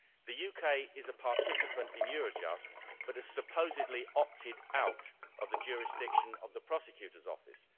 The UK is a participant in Eurojust but has supposedly opted out of the jurisdiction of the Prosecutor's Office.